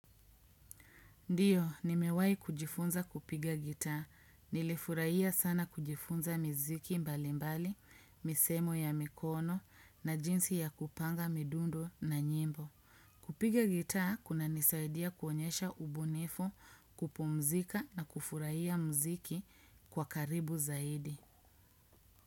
Ndiyo, nimewahi kujifunza kupiga gitaa. Nilifurahia sana kujifunza miziki mbalimbali, misemo ya mikono na jinsi ya kupanga midundo na nyimbo. Kupiga gitaa kunanisaidia kuonyesha ubunifu, kupumzika na kufurahia muziki kwa karibu zaidi.